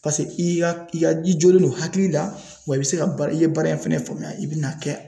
i ka i jolen don hakili la wa i bi se ka baara i ye baara in fɛnɛ faamuya i bi n'a kɛ